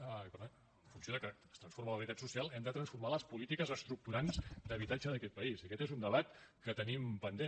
per tant en funció que es transforma la realitat social hem de transformar les polítiques estructurants d’habitatge d’aquest país i aquest és un debat que tenim pendent